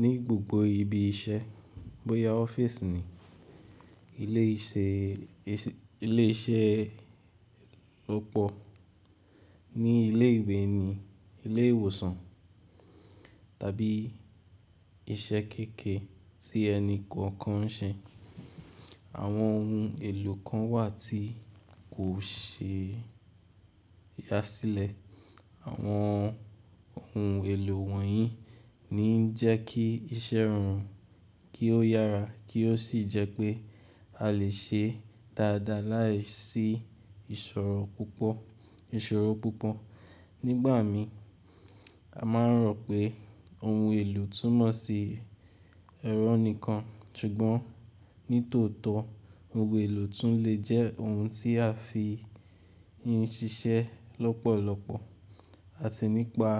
Ni gbogbo ibi iṣẹ́, bóya ọ́fíìsì ni, ilé iṣẹ́ ọ̀pọ̀, ní ilé ìwé ni, ilé ìwòsàn tàbí iṣẹ́ kékèè tí ẹni kankan ń ṣe, àwọn ohun èlò kan wà tí kò ṣe é yá sílẹ̀. Àwọn ohun èlò wọ̀nyí ni ń jẹ́ kí iṣẹ́ ẹ ran kí ó yára kí ó sì jẹ́ pé a lè ṣe é dáadáa láìsí ìṣòro púpọ̀. Nígbà mi a máa ń rò pé ohun èlò túmọ̀ sí ẹ̀rọ nìkan, ṣùgbọ́n ní tòótọ́ ohun èlò tún lè jẹ́ ohun tí a fi ń ṣiṣẹ́ lọ́pọ̀lọpọ̀ àti nípa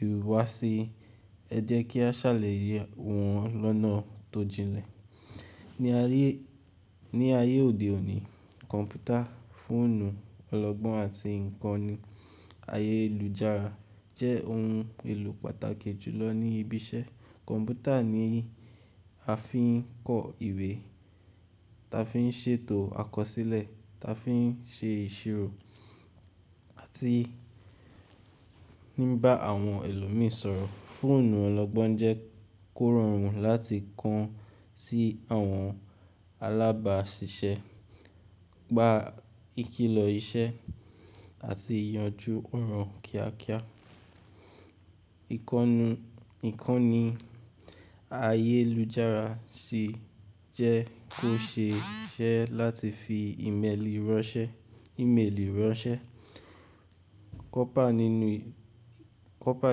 ìhùwàsí ẹ jẹ́ kí a ṣàlàyé wọn lọ́nà tó jinlẹ̀. Ni ayé òde òní, kọ̀mpútà, fóònù ọlọ́gbọ́n àti ìkànnì ayélujára jẹ́ ohun èlò pàtàkì jùlọ ní ibi iṣẹ́. Kọ̀mpútà ni a fi ń kọ ìwé, ta fi ń ṣètò àkọsílẹ̀, ta fi ń ṣe ìṣirò àti ní bá àwọn ẹlòmíì sọ̀rọ̀. Fóònù ọlọ́gbọ́n jẹ́ kó rọrùn láti kàn sí àwọn alábáṣiṣẹ́, gba ìkìlọ̀ iṣẹ́ àti yanjú ọ̀ràn kíákíá. Ìkànnì ayélujára sì jẹ́ kó ṣe é ṣe láti fi Email ránṣẹ́, kọ́pà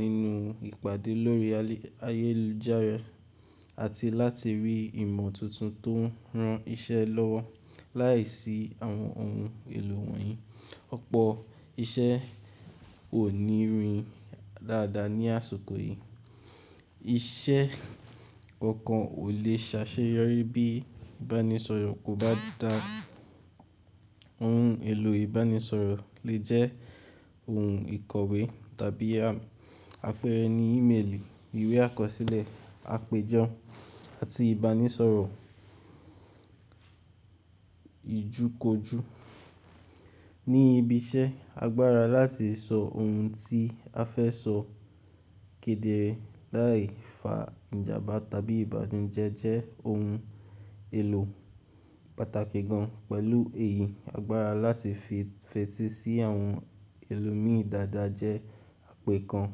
nínú ìpàdé lórí ayélujára àti láti rí ìmọ̀ tuntun tó ń ran iṣẹ́ lọ́wọ́ láìsí àwọn ohun èlò wọ̀nyí. Ọ̀pọ̀ iṣẹ́ ò ní rin dáadáa ní àsìkò yìí. Iṣẹ́ kankan ò le ṣáṣeyọrí bí ìbánisọ̀rọ̀ kò bá dáa. Ohun èlò ìbánisọ̀rọ̀ lè jẹ́ ohun ìkọ̀wé tàbí afẹ́rẹ́ ní Email, ìwé àkọsílẹ̀, àpèjọ àti ìbánisọ̀rọ̀ ìjúkójú. Ní ibi iṣẹ́, agbára láti sọ ohun tí a fẹ́ sọ kedere láì fa ìjàmbá tàbí ìbànújẹ́ jẹ́ ohun èlò pàtàkì gan-an. Pẹ̀lú èyí, agbára láti fetí sí àwọn ẹlòmíì dáadáa jẹ́ àpẹẹrẹ kan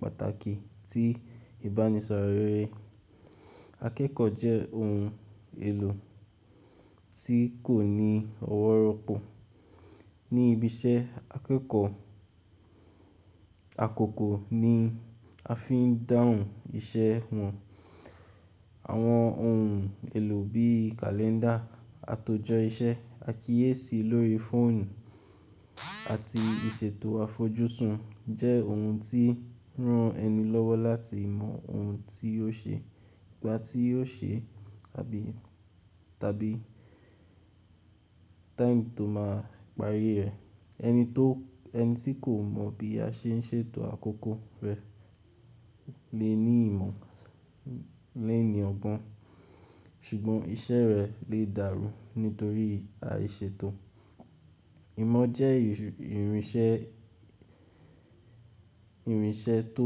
pàtàkì tí ìbánisọ̀rọ̀ rere. Akẹ́kọ̀ọ́ jẹ́ ohun èlò tí kò ní ọwọ́ ropọ̀ ní ibi iṣẹ́. Akẹ́kọ̀ọ́ àkọ́kọ́ ni a fi ń dáhùn iṣẹ́ wọn. Àwọn ohun èlò bí i kàléńdà, àtòjọ iṣẹ́, àkíyèsí lórí fóònù àti ìṣètò àfojúsùn jẹ́ ohun tí ń ran ẹni lọ́wọ́ láti mọ ohun tí yóò ṣe, ìgbà tí yóò ṣe tàbí time tó máa parí rẹ̀. Ẹni tí kò mọ̀ bí a ṣe ń ṣètò àkókò rẹ̀ lè ní ìmọ̀ léèní ọgbọ́n ṣùgbọ́n iṣẹ́ rẹ̀ lè dàrú nítorí àìṣètò. Ìmọ̀ jẹ́ ìrìnṣẹ́ tó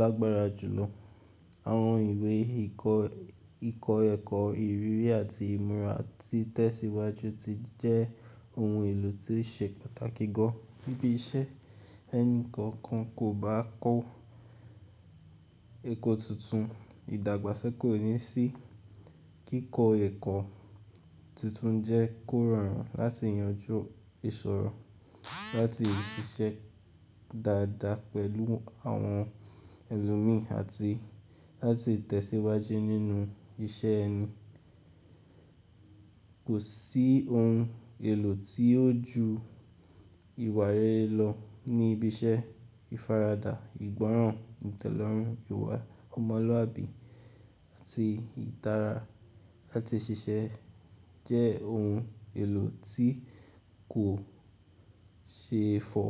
lágbára jùlọ. Àwọn ìwé kikọ̀ọ́ ẹ̀kọ́, ìrírí àti ìmúra tí tẹ̀síwájú ti jẹ́ ohun èlò tí ṣe pàtàkì gan-an níbi iṣẹ́. Ẹni kankan kò bá kọ́ ẹ̀kọ́ tuntun, ìdàgbàsókè kò ní sí. Kíkọ ẹ̀kọ́ tuntun jẹ́ kó rọrùn láti yanjú ìṣòro, láti ṣiṣẹ́ dáadáa pẹ̀lú àwọn ẹlòmíì àti láti tẹ̀síwájú nínú iṣẹ́ ẹni. Kò sí ohun èlò tí ó ju ìwà rere lọ ní ibi iṣẹ́. Ìfaradà, ìgbọ́ràn, ìtẹ́lọ́rùn, ìwà ọmọlúwàbí àti ìtara láti ṣiṣẹ́ jẹ́ ohun èlò tí kò ṣe é fo.